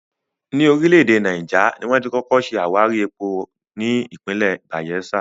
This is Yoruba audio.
Ní orílẹ̀ èdè Náíjà, ni wón ti kọ́kọ́ ṣe àwárí epo ní ìpínlẹ̀ Bàyẹ́sà